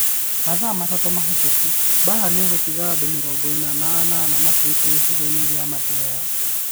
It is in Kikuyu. Mathaa matatũ mahĩtũku Mbaara nĩ gũtiga andũ mĩrongo ĩna na ĩnana makuĩte gĩcigo-inĩ kĩa Mathioya